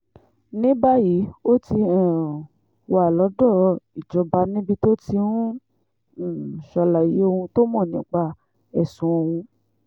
ní báyìí ó ti um wà lọ́dọ̀ ìjọba níbi tó ti ń um ṣàlàyé ohun tó mọ̀ nípa ẹ̀sùn ọ̀hún